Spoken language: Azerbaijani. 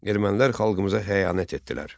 Ermənilər xalqımıza xəyanət etdilər.